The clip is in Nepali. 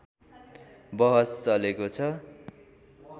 बहस चलेको छ